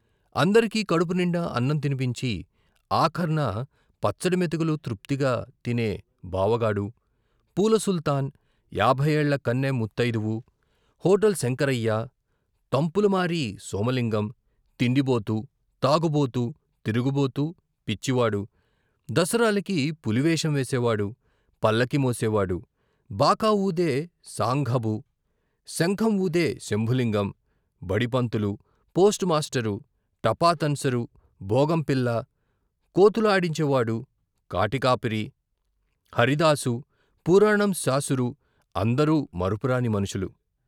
అందరకీ కడుపు నిండా అన్నం తినిపించి ఆఖర్న పచ్చడి మెతుకులు తృప్తిగా తినే బావగాడు, పూల సుల్తాన్, యాభైయేళ్ళ కన్నె ముత్తయిదువు, హోటల్ శంకరయ్య, తంపులమారి సోమలింగం, తిండిబోతు, తాగుబోతు, తిరుగుబోతు, పిచ్చివాడు, దసరాలకి పులి వేషం వేసేవాడు, పల్లకీ మోసేవాడు, బాకా ఊదే సాంఘబు, శంఖం వూదే శంభులింగం, బడిపంతులు, పోస్టుమాస్టరు, టపా తన్సరు, బోగం పిల్ల, కోతులు ఆడించే వాడు, కాటి కాపరి, హరిదాసు, పురాణం శాసురు, అందరూ మరపురాని మనుషులు.